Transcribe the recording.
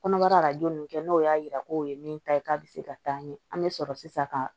Kɔnɔbara arajo nin kɛ n'o y'a jira k'o ye min ta ye k'a bɛ se ka taa ɲɛ an bɛ sɔrɔ sisan ka